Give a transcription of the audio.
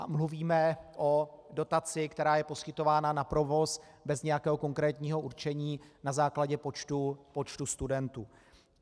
A mluvíme o dotaci, která je poskytována na provoz bez nějakého konkrétního určení, na základě počtu studentů.